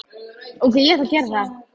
Þú mundir aldrei trúa hvað mér leiðist.